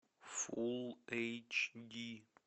фулл эйч ди